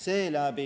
Saab kohe otsa?